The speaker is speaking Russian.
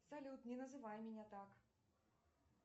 салют не называй меня так